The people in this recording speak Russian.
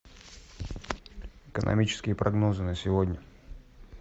экономические прогнозы на сегодня